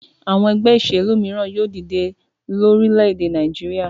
Àwọn ẹgbẹ́ ìṣèlú mìíràn yóò dìde lórílẹ̀-èdè Nàìjíríà.